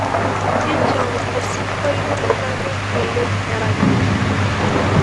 injoo osinkpolio lanyorr oleng erany